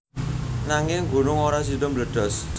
Nanging gunung ora sida mbledos